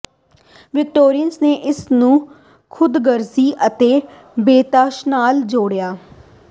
Victorians ਨੇ ਇਸ ਨੂੰ ਖ਼ੁਦਗਰਜ਼ੀ ਅਤੇ ਬੇਤਹਾਸ਼ਾਤਾ ਨਾਲ ਜੋੜਿਆ